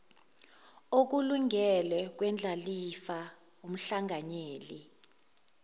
okulingene kwendlalifa umhlanganyeli